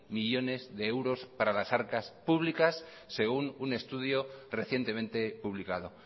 millónes de euros para las arcas públicas según un estudio recientemente publicado